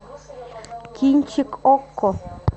кинчик окко